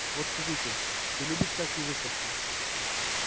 вот скажите ты любишь всякие выставки